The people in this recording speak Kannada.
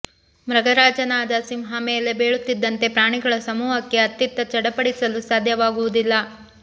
ಮೃಗರಾಜನಾದ ಸಿಂಹ ಮೇಲೆ ಬೀಳುತ್ತಿದ್ದಂತೆ ಪ್ರಾಣಿಗಳ ಸಮೂಹಕ್ಕೆ ಅತ್ತಿತ್ತ ಚಡಪಡಿಸಲು ಸಾಧ್ಯವಾಗುವುದಿಲ್ಲ